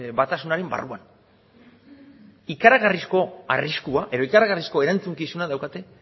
batasunaren barruan ikaragarrizko arriskua edo ikaragarrizko erantzukizuna daukate